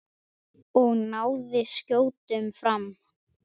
Og náði skjótum frama.